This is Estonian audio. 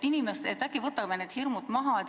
Äkki võtame need hirmud maha.